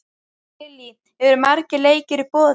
Lillý, eru margir leikir í boði?